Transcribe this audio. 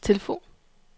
telefon